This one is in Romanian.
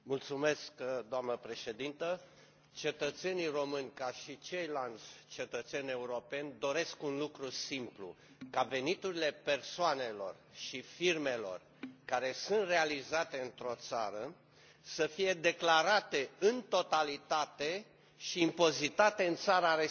Doamnă președinte, cetățenii români, ca și ceilalți cetățeni europeni, doresc un lucru simplu ca veniturile persoanelor și firmelor care sunt realizate într o țară să fie declarate în totalitate și impozitate în țara respectivă.